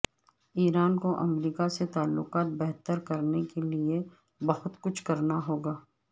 ایران کو امریکہ سے تعلقات بہتر کرنے کے لیے بہت کچھ کرنا ہوگا